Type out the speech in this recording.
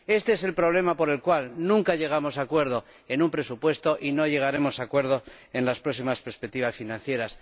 Éste es el problema por el cual nunca llegamos a un acuerdo sobre el presupuesto y no llegaremos a un acuerdo sobre las próximas perspectivas financieras.